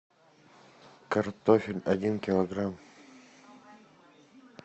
картофель один килограмм